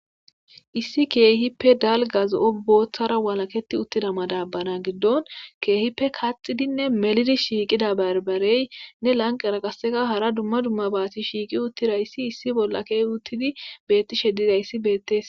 Issi kehippe dalgga zo'o boththara walaketida uttida maddabara giddon kehippe kaxxidinne mellidi shiqqida barbareynne lanqqera qase hard duma duma bati shiqqi uttidaysi issi bolla ke'I uttidaysi bettishe dizayisi bettes.